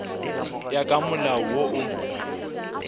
ya ka molao wo o